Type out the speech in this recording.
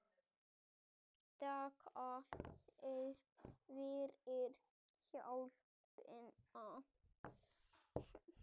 Þakka þér fyrir hjálpina